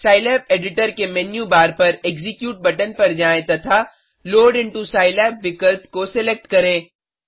Scilab editor के menu bar पर execute button पर जाएँ तथा लोड इंटो सिलाब विकल्प को सेलेक्ट करें